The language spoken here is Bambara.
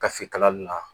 Kafe kalali la